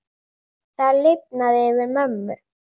Það lifnaði yfir mömmu.